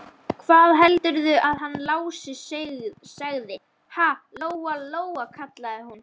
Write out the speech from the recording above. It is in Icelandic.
Hvað heldurðu að hann Lási segði, ha, Lóa-Lóa, kallaði hún.